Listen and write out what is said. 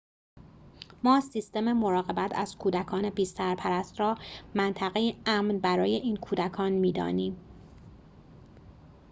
ما سیستم مراقبت از کودکان بی‌سرپرست را منطقه‌ای امن برای این کودکان می‌دانیم